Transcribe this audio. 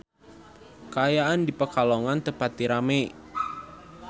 Kaayaan di Pekalongan teu pati rame